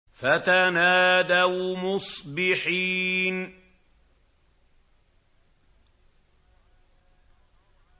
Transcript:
فَتَنَادَوْا مُصْبِحِينَ